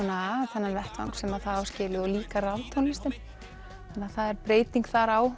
þennan vettvang sem það á skilið og líka raftónlistin það er breyting þar á